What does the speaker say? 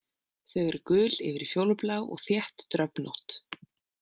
Þau eru gul yfir í fjólublá og þétt dröfnótt.